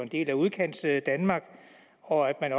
del af udkantsdanmark og at